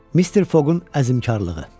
Mr. Foqun əzmkarlığı.